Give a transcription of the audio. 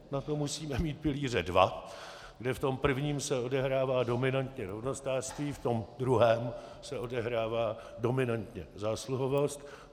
Na to musíme mít pilíře dva, kde v tom prvním se odehrává dominantně rovnostářství, v tom druhém se odehrává dominantně zásluhovost.